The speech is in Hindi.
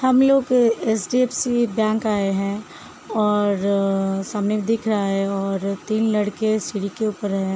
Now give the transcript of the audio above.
हम लोग एचडीएफसी बैंक आये है और सामने दिख रहा है। तीन लड़के सीढ़ी के ऊपर हैं।